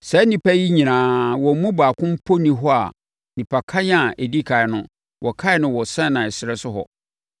Saa nnipa yi nyinaa, wɔn mu baako mpo nni hɔ a nnipakan a ɛdi ɛkan no, wɔkan no wɔ Sinai ɛserɛ so hɔ,